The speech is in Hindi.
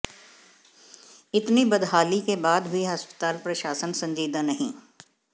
इतनी बदहाली के बाद भी अस्पताल प्रशासन संजीदा नहीं